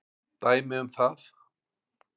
Dæmi um það